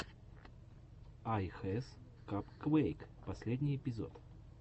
ай хэс капквэйк последний эпизод